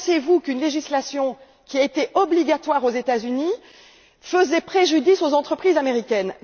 Pensez vous qu'une législation à caractère obligatoire aux États Unis faisait préjudice aux entreprises américaines?